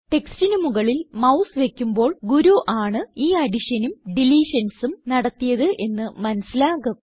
ടെക്സ്റ്റിന് മുകളിൽ മൌസ് വയ്ക്കുമ്പോൾ ഗുരു ആണ് ഈ additionനും deletionsനും നടത്തിയത് എന്ന് മനസിലാകും